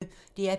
DR P1